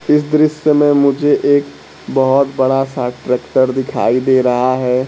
इस दृश्य में मुझे एक बहोत बड़ा सा ट्रैक्टर दिखाई दे रहा है।